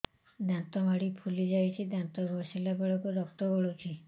ଦାନ୍ତ ମାଢ଼ୀ ଫୁଲି ଯାଉଛି ଦାନ୍ତ ଘଷିଲା ବେଳକୁ ରକ୍ତ ଗଳୁଛି